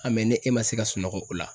ne e ma se ka sunɔgɔ o la